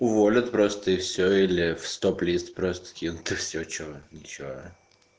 уволят просто и всё или в стоп-лист просто кинут и всё что ничего